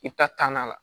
I bɛ taa na